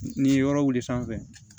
Ni ye yɔrɔ wuli sanfɛ